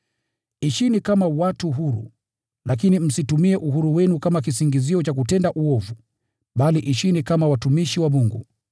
Ishini kama watu huru, lakini msitumie uhuru wenu kama kisingizio cha kutenda uovu, bali ishini kama watumishi wa Mungu.